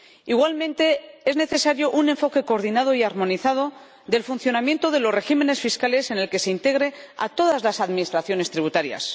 Igualmente, es necesario un enfoque coordinado y armonizado del funcionamiento de los regímenes fiscales en el que se integre a todas las administraciones tributarias.